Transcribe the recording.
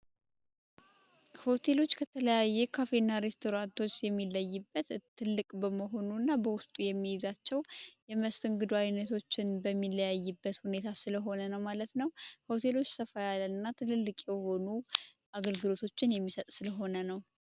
ሆቴሎች ከተለያየ ካፌና rስቶራቶች የሚለይበት ትልቅ በመሆኑ እና በውስጡ የሚይዛቸው የመስንግዱ አይነቶችን በሚለያይበት ሁኔታ ስለሆነ ነው ማለት ነው ሆቴሎች ሰፋይ ያለ እና ትልልቅ ሆኑ አገልግሎቶችን የሚሰጥ ስለሆነ ነው